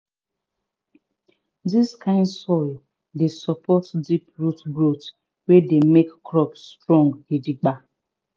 dis kind soil dey support deep root growth wey dey make crops strong gidigba